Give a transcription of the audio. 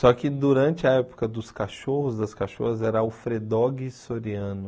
Só que durante a época dos cachorros, das cachorras, era Alfredogue Soriano.